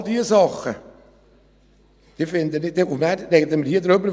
All diese Dinge ... Ich finde dann, werten wir darüber.